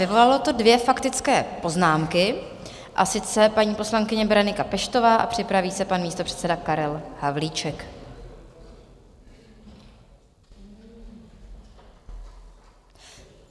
Vyvolalo to dvě faktické poznámky, a sice paní poslankyně Berenika Peštová a připraví se pan místopředseda Karel Havlíček.